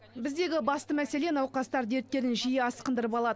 біздегі басты мәселе науқастар дерттерін жиі асқындырып алуы